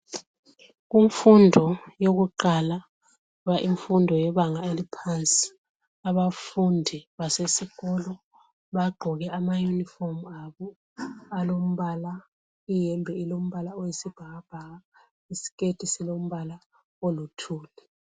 Kumfundo yokuqala imfundo yebanga eliphansi abafundi basesikolo baqgoke amayunifomu abo alombala iyembe ilombala oyisibhakabhaka isiketi silombala oluthuli